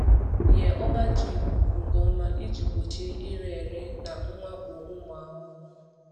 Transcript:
Nye ọba ji ikuku nke ọma iji gbochie ire ere na mwakpo ụmụ ahụhụ.